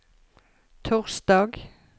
torsdag